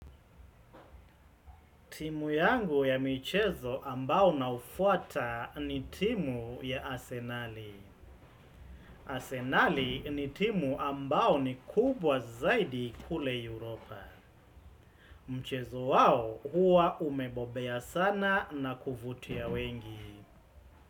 Timu yangu ya michezo ambao na ufuata ni timu ya Asenali. Asenali ni timu ambao ni kubwa zaidi kule Europa. Mchezo wao huwa umebobea sana na kuvutia wengi.